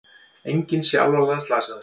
Enginn sé alvarlega slasaður